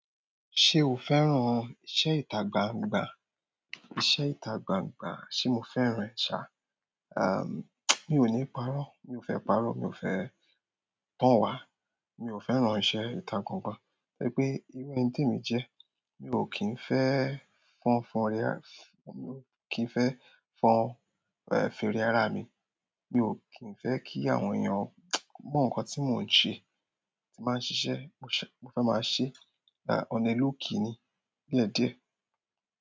Ṣé o fẹ́ràn iṣẹ́ ìtagbangba? Iṣẹ́ ìtagbangba ṣé mo fẹ́ràn ṣá, a, mí ò ní parọ́, mi ò fẹ́ parọ́, mi ò fẹ́ tán wá, mi ò fẹ́ràn iṣẹ́ ìtagbangba, gẹ́gẹ́bí ìwẹ̀ ẹni tí èmi jẹ. Mi ò kín fẹ́ fọn fọn rere, mi ò kín fẹ́ fọn fèrè ara mi. Mi ò kín fẹ́ kí àwọn èèyàn mọ̀ nǹkan tí mò ń ṣe, tí màá ń ṣiṣẹ́, mo fẹ́ máa ṣẹ́, dá ọ́n nílò kí ni. Bíẹ̀díẹ̀